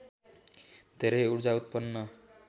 धेरै ऊर्जा उत्पन्न